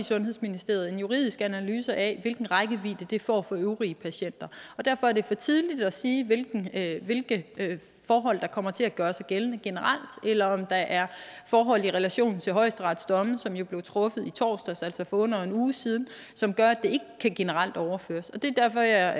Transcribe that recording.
sundhedsministeriet en juridisk analyse af hvilken rækkevidde det får for øvrige patienter og derfor er det for tidligt at sige hvilke hvilke forhold der kommer til at gøre sig gældende generelt eller om der er forhold i relation til højesterets domme som jo blev truffet i torsdags altså for under en uge siden som gør at det ikke generelt kan overføres det er derfor jeg